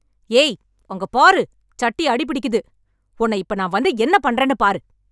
ஏய் அங்க பாரு சட்டி அடி பிடிக்குது உன்னை இப்ப நான் வந்து என்ன பண்றேன்னு பாரு